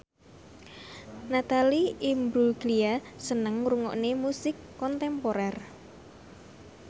Natalie Imbruglia seneng ngrungokne musik kontemporer